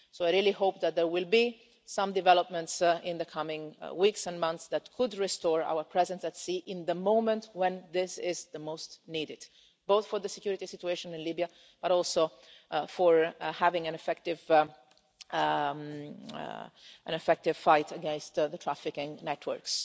So I really hope that there will be some developments in the coming weeks and months that could restore our presence at sea in the moment when this is most needed both for the security situation in Libya, but also for having an effective fight against the trafficking networks